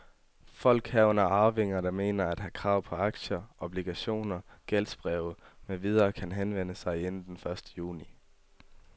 Folk, herunder arvinger, der mener at have krav på aktier, obligationer, gældsbreve med videre kan henvende sig inden første juni.